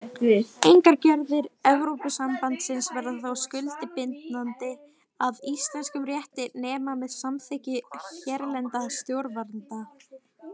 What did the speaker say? Engar gerðir Evrópusambandsins verða þó skuldbindandi að íslenskum rétti nema með samþykki hérlendra stjórnvalda.